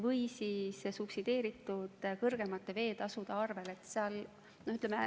Või siis võiks see olla subsideeritud kõrgemate veeteetasude arvel.